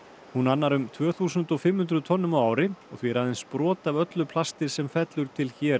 hún annar um tvö þúsund og fimm hundruð tonnum á ári og því er aðeins brot af öllu plasti sem fellur til hér